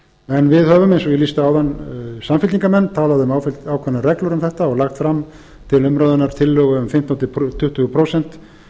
en við höfum eins og ég lýsti áðan samfylkingarmenn talað um ákveðnar reglur um þetta og lagt fram til umræðunnar fimmtán til tuttugu prósent